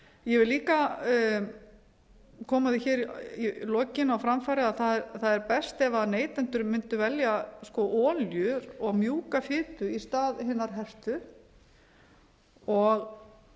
ég vil líka koma því á framfæri í lokin að það er best ef neytendur mundu velja olíu og mjúka fitu í stað hinnar hertu og